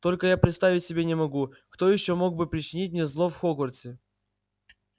только я представить себе не могу кто ещё мог бы причинить мне зло в хогвартсе